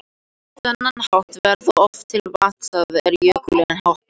Á þennan hátt verða oft til vatnastæði er jökullinn hopar.